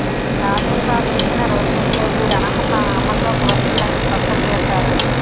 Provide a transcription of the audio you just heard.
ఈ ఆదేశాలు ఇచ్చిన రోజునుంచే వీరి అనర్హత అమల్లోకి వస్తుందని స్పష్టం చేశారు